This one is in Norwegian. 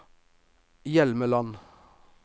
Hjelmeland